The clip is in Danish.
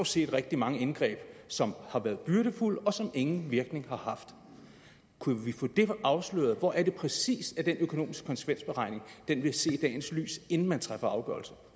set rigtig mange indgreb som har været byrdefulde og som ingen virkning har haft kunne vi få det afsløret hvor er det præcis at den økonomiske konsekvensberegning vil se dagens lys inden man træffer afgørelse